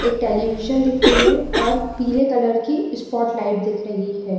एक टेलीविजन दिख रही है और पीले कलर की स्पॉट लाइट दिख रही है।